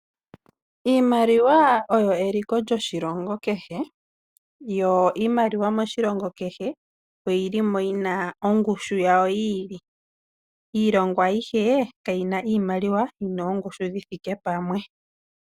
Iimaliwa oyo eliko lyoshilongo keshe yo iimaliwa moshilongo keshe oyili mo yina ongushu yawo yiili. Iilongo ayishe kayina iimaliwa yina oongushu dhithike pamwe.